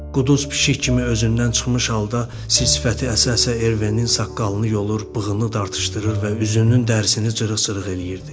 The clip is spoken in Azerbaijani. Quduz pişik kimi özündən çıxmış halda sifsifəti əsə-əsə Ervenin saqqalını yolur, bığını dartışdırır və üzünün dərisini cırıq-cırıq eləyirdi.